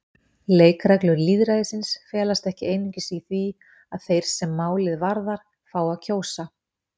Leikreglur lýðræðisins felast ekki einungis í því að þeir sem málið varðar fái að kjósa.